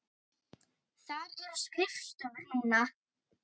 Þar eru skrifstofur núna.